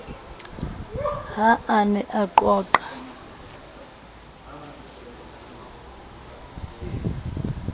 ha a ne a qoqa